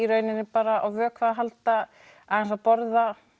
rauninni bara á vökva að halda aðeins að borða